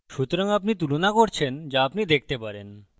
সুতরাং আপনি তুলনা করছেন so আপনি দেখতে পারেন